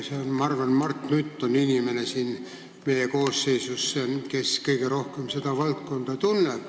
Ma arvan, et Mart Nutt on see inimene selles koosseisus, kes kõige rohkem seda valdkonda tunneb.